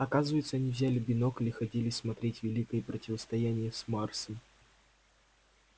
оказывается они взяли бинокль и ходили смотреть великое противостояние с марсом